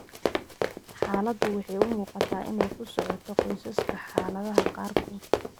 Xaaladdu waxay u muuqataa inay ku socoto qoysaska xaaladaha qaarkood.